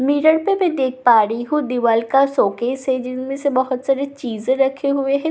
mirror पे मैं देख पा रही हूं दीवाल का शोकेस है जिसमें से बहुत सारे चीज रखे हुए हैं कुछ आदमी--